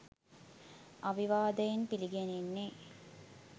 අවිවාදයෙන් පිළිගැනෙන්නේ